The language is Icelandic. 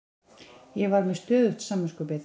Ég var með stöðugt samviskubit.